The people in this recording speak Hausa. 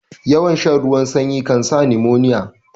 Yawan shan ruwan sanyi kansa nimoniya